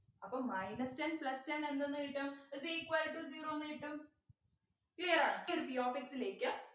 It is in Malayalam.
അപ്പോ minus ten plus ten എന്ത്ന്ന് കിട്ടും is equal to zero ന്ന് കിട്ടും Clear ആയോ ഈയൊരു p of x ലേക്ക്